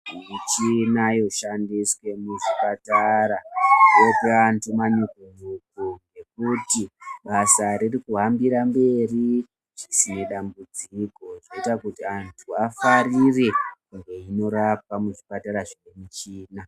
Michini yoshandiswa muzvipatara yopa vanhu manyuku nyuku ekuti basa ririkuhambire mberi zvisina dambudziko zvoita kuti vanhu vafarire koorapwa muzvipatara zvine michina.